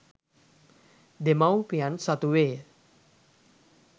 දෙමව්පියන් සතු වේය